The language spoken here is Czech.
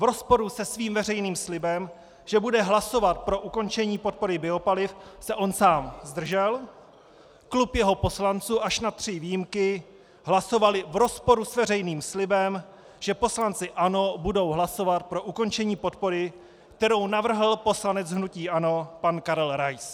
V rozporu se svým veřejným slibem, že bude hlasovat pro ukončení podpory biopaliv, se on sám zdržel, klub jeho poslanců až na tři výjimky hlasoval v rozporu s veřejným slibem, že poslanci ANO budou hlasovat pro ukončení podpory, kterou navrhl poslanec hnutí ANO pan Karel Rais.